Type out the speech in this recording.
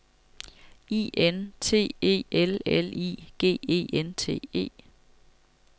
I N T E L L I G E N T E